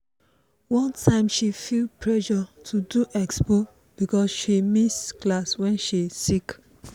one time she feel pressure to do expo because she she miss class when she sick.